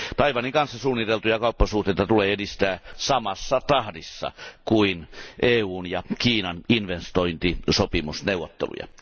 Taiwanin kanssa suunniteltuja kauppasuhteita tulee edistää samassa tahdissa kuin EUn ja Kiinan investointisopimusneuvotteluja.